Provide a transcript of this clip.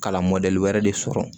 Kalan mɔdɛli wɛrɛ de sɔrɔ